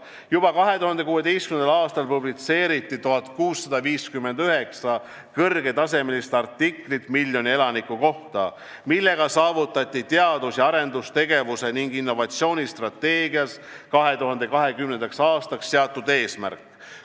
Juba 2016. aastal publitseeriti 1659 kõrgetasemelist artiklit miljoni elaniku kohta, millega saavutati teadus- ja arendustegevuse ning innovatsiooni strateegias 2020. aastaks seatud eesmärk.